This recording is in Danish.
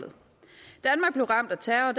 så er